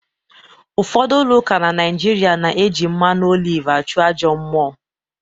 Ụfodu ụka na naijịrịa na-eji mmanụ oliv achụ ajọ mmụọ